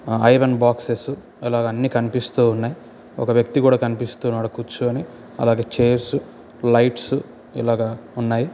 ఆ iron boxes ఇలాగా అన్ని కనిపిస్తున్నాయి. ఒక వ్యక్తి కూడా కనిపిస్తున్నాడు. కూర్చొని అలాగే చేర్స్ లైట్స్ ఇలాగే ఉన్నాయి.